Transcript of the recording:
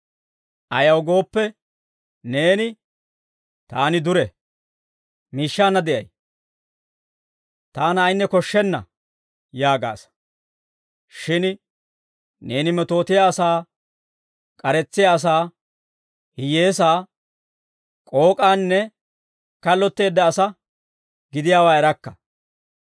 Ayaw gooppe neeni, ‹Taani dure; miishshaanna de'ay; taana ayinne koshshenna› yaagaasa. Shin neeni metootiyaa asaa, k'aretsiyaa asaa, hiyyeesaa, k'ook'anne kallotteedda asaa gidiyaawaa erakka.